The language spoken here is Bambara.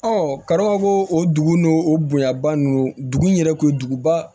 kadɔw ka ko o dugu n'o o bonyaba ninnu dugu in yɛrɛ kun ye duguba